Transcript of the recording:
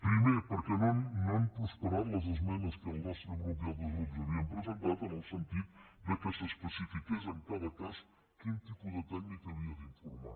primer perquè no han prospe·rat les esmenes que el nostre grup i altres grups ha·vien presentat en el sentit que s’especifiqués en cada cas quin tipus de tècnic havia d’informar